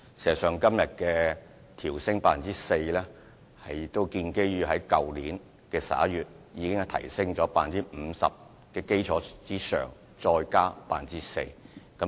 事實上，今日提出升幅，是於去年11月已經提升了 25% 至 50% 的基礎之上，再加的 4%。